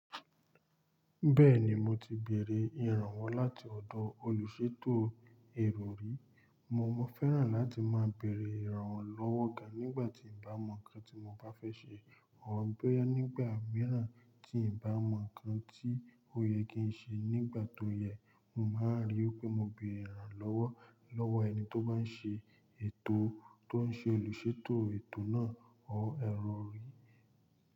Bẹ́ẹ̀ni, mo ti bèrè ìrànwọ́ láti ọ̀dọ̀ olùṣètò èrò rí. Mo máa fẹ́ràn láti máa bèrè ìrànwọ́ lọ́wọ́ oga nígbà tí n bá mọ ǹkan tí mo bá fẹ́ ṣe. Wọ́n ń gbé nígbà mìíràn tí n bá mọ ǹkan tí ó yẹ kí n ṣe nígbà tó yẹ. Mo máa ríi pé mo bèrè ìrànwọ́ lọ́wọ́ ẹni tó bá n ṣe ètò tó n ṣe olùṣètò ètò náà or èrò rí.